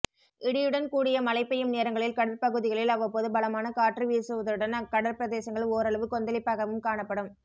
இடியுடன் கூடிய மழை பெய்யும் நேரங்களில் கடற்பகுதிகளில் அவ்வப்போது பலமான காற்று வீசுவதுடன் அக்கடற் பிரதேசங்கள் ஓரளவு கொந்தளிப்பாகவும் காணப்படும்